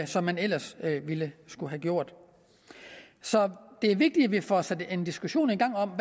som man ellers ville skulle have gjort så det er vigtigt at vi får sat en diskussion i gang om